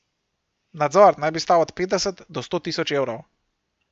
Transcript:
Nadzor naj bi stal od petdeset do sto tisoč evrov.